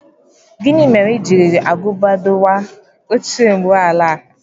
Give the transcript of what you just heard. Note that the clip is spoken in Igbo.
Gini mere i jiri agụba dọwaa oche ụgbọ ala?